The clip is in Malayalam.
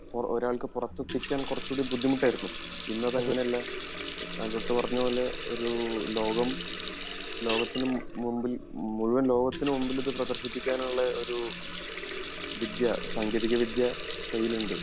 ഒരാൾക്ക് പുറത്തെത്തിക്കാൻ കുറച്ചുകൂടി ബുദ്ധിമുട്ട് ആയിരുന്നു ഇന്ന് അതങ്ങിനെയല്ല ആൽബർട്ട് പറഞ്ഞ പോലെ ഒരു ലോകം ലോകത്തിന് മുമ്പിൽ മുഴുവൻ ലോകത്തിന് മുമ്പിൽ ഇത് പ്രദർശിപ്പിക്കാൻ ഉള്ള ഒരു വിദ്യ സാങ്കേതിക വിദ്യ കയ്യിലുണ്ട്